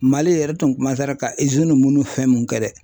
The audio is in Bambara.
Mali yɛrɛ tun ma ka munnu fɛn mun kɛ dɛ